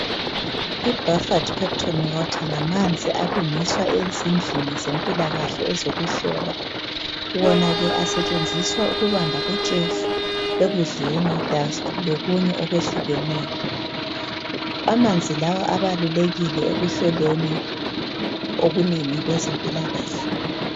I buffered peptone water ngamanzi alungiswa ezindlini zempilakahle ezokuhlola. Wona ke asetshenziswa ukubamba utshefu ekudleni lokunye okwehlukeneyo. Amanzi lawa abalulekile ekuhloleni okunengi kwezempilakahle.